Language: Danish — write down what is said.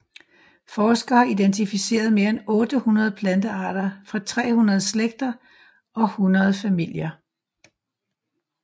Forskere har identificeret mere end 800 plantearter fra 300 slægter og 100 familier